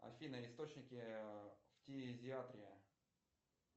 афина источники фтизиатри